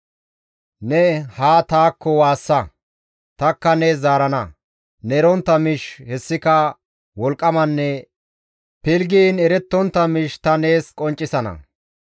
«Ne haa taakko waassa; tanikka nees zaarana; ne erontta miish hessika wolqqamanne pilggiin erettontta miish ta nees qonccisana.